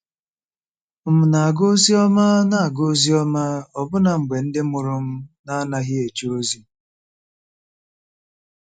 M̀ na-aga ozi ọma na-aga ozi ọma ọbụna mgbe ndị mụrụ m na-anaghị eje ozi?